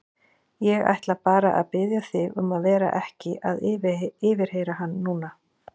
Ég ætla bara að biðja þig um að vera ekki að yfirheyra hann núna.